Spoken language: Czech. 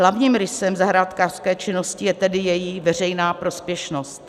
Hlavním rysem zahrádkářské činnosti je tedy její veřejná prospěšnost.